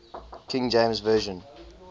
king james version